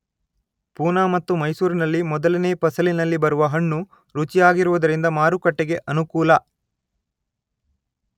ಪೂನ ಮತ್ತು ಮೈಸೂರಿನಲ್ಲಿ ಮೊದಲನೆಯ ಫಸಲಿನಲ್ಲಿ ಬರುವ ಹಣ್ಣು ರುಚಿಯಾಗಿರುವುದರಿಂದ ಮಾರುಕಟ್ಟೆಗೆ ಅನುಕೂಲ.